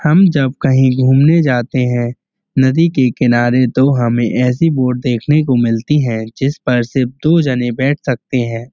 हम जब कहीं घूमने जाते हैं। नदी के किनारे दो हमें ऐसी बोट देखने को मिलती हैं। जिस पर सिर्फ दो जने बैठ सकते हैं।